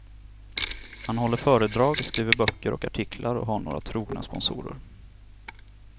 Han håller föredrag, skriver böcker och artiklar och har några trogna sponsorer.